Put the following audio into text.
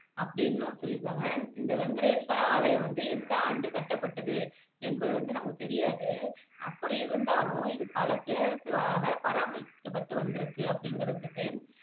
அப்படின்னும் சொல்லிருக்காங்க இந்த வெங்கடேஸ்வரா ஆலயம் வந்து எந்த ஆண்டு கட்டப்பட்டது என்பது வந்து நமக்கு தெரியாது அப்படி இருந்தாலும் இது பல பெரரசுகளால பராமரிக்கப்பட்டு வந்துருக்கு அப்படிங்கிறதிருக்கு